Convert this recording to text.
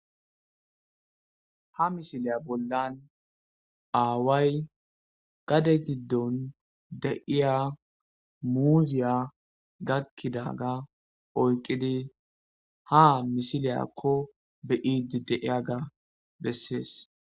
Ha misiliya bollan aaway gadde gidon diya muziya gakidaga oyqidi ha misiliyako be'idi de'iyaga beses.